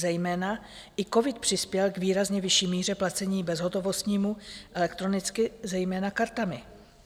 Zejména i covid přispěl k výrazně vyšší míře placení bezhotovostního, elektronicky, zejména kartami.